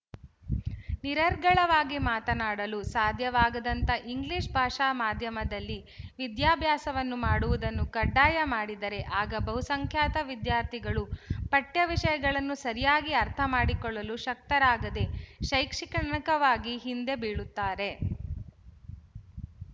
ನಿರರ್ಗಳವಾಗಿ ಮಾತನಾಡಲು ಸಾಧ್ಯವಾಗದಂಥ ಇಂಗ್ಲಿಶ ಭಾಷಾ ಮಾಧ್ಯಮದಲ್ಲಿ ವಿದ್ಯಾಭ್ಯಾಸವನ್ನು ಮಾಡುವುದನ್ನು ಕಡ್ಡಾಯ ಮಾಡಿದರೆ ಆಗ ಬಹುಸಂಖ್ಯಾತ ವಿದ್ಯಾರ್ಥಿಗಳು ಪಠ್ಯವಿಶಯಗಳನ್ನು ಸರಿಯಾಗಿ ಅರ್ಥಮಾಡಿಕೊಳ್ಳಲು ಶಕ್ತರಾಗದೆ ಶೈಕ್ಷಣಿಕವಾಗಿ ಹಿಂದೆ ಬೀಳುತ್ತಾರೆ